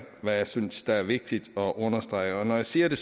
hvad jeg synes er vigtigt at understrege når jeg siger det